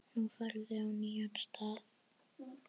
Nú ferðu á nýjan stað.